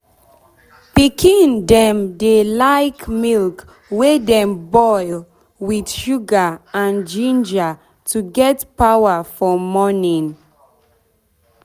pikin dem dey like milk wey dem boil boil with sugar and ginger to get power for morning.